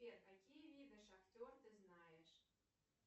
сбер какие виды шахтер ты знаешь